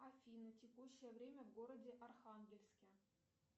афина текущее время в городе архангельске